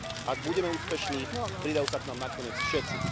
Ak budeme úspešní, pridajú sa k nám nakoniec všetci.